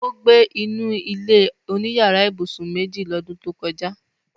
Ó gbé inú ilé-oníyàrá ibùsùn méjì lọ́dún tó kọjá